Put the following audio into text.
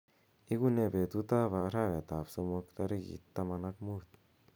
igunee betut ab arawet ab somok tarigit taman ak muut